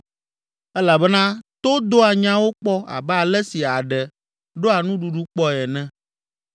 elabena to doa nyawo kpɔ abe ale si aɖe ɖɔa nuɖuɖu kpɔe ene.